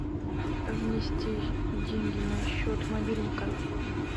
внести деньги на счет мобильника